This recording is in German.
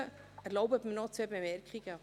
Erlauben Sie mir noch zwei Bemerkungen: